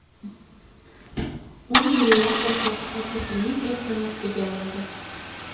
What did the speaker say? U yillar o‘tib, otasining kasbini egalladi.